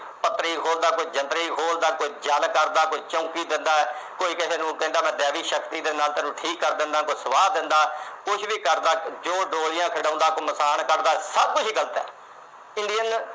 ਆਪਣੀ ਕੋਈ ਪੱਤਰੀ ਖੋਲ੍ਹਦਾ, ਕੋਈ ਜੰਤਰੀ ਖੋਲ੍ਹਦਾ, ਕੋਈ ਜਲ ਕਰਦਾ, ਕੋਈ ਚੌਂਕੀ ਕਰਦਾ। ਕੋਈ ਕਿਸੇ ਨੂੰ ਕਹਿੰਦਾ ਮੈਂ ਦੈਵਿਕ ਸ਼ਕਤੀ ਦੇ ਨਾਲ ਤੁਹਾਨੂੰ ਠੀਕ ਕਰ ਦਿੰਨਾ ਤੈਨੂੰ, ਸੁਆਹ ਦਿੰਨਾ, ਕੁਝ ਵੀ ਕਰਦਾ। ਜੋ ਡੋਰੀਆ ਖਿਡਾਉਂਦਾ, ਜੋ ਕਰਦਾ, ਸਭ ਕੁਝ ਈ ਗਲਤ ਆ।